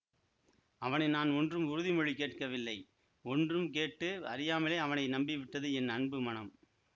அவனை நான் ஒன்றும் உறுதிமொழி கேட்கவில்லை ஒன்றும் கேட்டு அறியாமலே அவனை நம்பிவிட்டது என் அன்பு மனம்